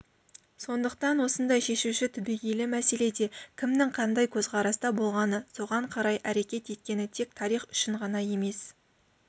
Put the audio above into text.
сондықтан осындай шешуші түбегейлі мәселеде кімнің қандай көзқараста болғаны соған қарай әрекет еткені тек тарих үшін ғана емес